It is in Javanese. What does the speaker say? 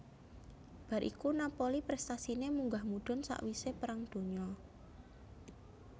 Bar iku Napoli prestasine munggah mudhun sakwise Perang Donya